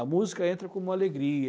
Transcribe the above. A música entra como uma alegria.